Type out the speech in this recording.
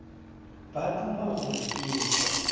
ba duma gore ke hwe